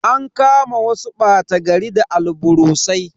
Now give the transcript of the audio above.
An kama wasu bata gari da alburusai.